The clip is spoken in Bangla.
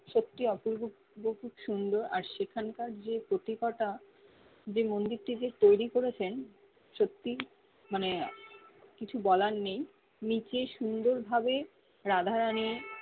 সত্যি অপূর্ব খুব খুব সুন্দর আর সেখান কার যে কতি কটা যে মন্দির টিকে তৈরি করেছেন সত্যি মানে কিছু বলার নেই নিচে সুন্দর ভাবে রাধা রানি